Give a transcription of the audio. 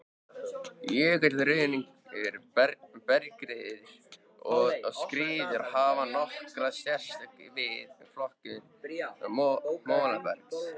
Jökulruðningur, bergskriður og skriður hafa nokkra sérstöðu við flokkun molabergs.